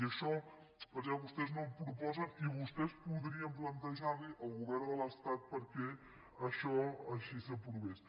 i això per què vostès no ho proposen i vostès podrien plantejar li al govern de l’estat perquè això així s’aprovés